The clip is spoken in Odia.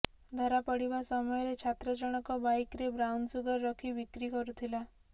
ଧରା ପଡ଼ିବା ସମୟରେ ଛାତ୍ର ଜଣଙ୍କ ବାଇକ୍ରେ ବ୍ରାଉନ୍ସୁଗର ରଖି ବିକ୍ରି କରୁଥିଲା